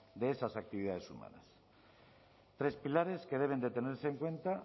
de esas actividades humanas tres pilares que deben de tenerse en cuenta